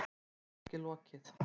Rannsókn er þó ekki lokið.